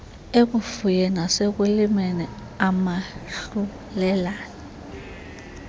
ekufuyeni nasekulimeni umahlulelane